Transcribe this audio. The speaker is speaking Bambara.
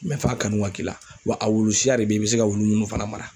f'a kanu ka k'i la wa a wulu siya de be yen i bi se ka wulu munnu fana mara